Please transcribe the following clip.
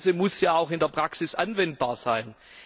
Das Ganze muss ja auch in der Praxis anwendbar sein.